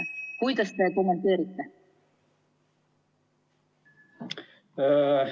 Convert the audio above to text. Kuidas te kommenteerite?